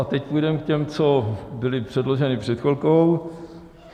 A teď půjdeme k těm, co byly předloženy před chvilkou.